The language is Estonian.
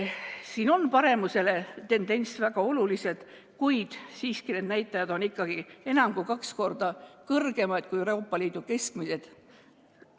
Siin on väga oluline tendents paremuse poole, kuid siiski on need näitajad ikkagi enam kui kaks korda kõrgemad kui Euroopa Liidus keskmiselt.